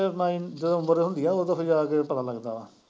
ਫਿਰ ਨਈ ਜਦੋਂ ਉਮਰ ਹੁੰਦੀ ਐ ਉਦੋਂ ਫਿਰ ਜਾ ਕੇ ਪਤਾ ਲੱਗਦਾ।